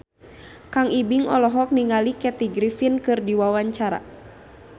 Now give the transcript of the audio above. Kang Ibing olohok ningali Kathy Griffin keur diwawancara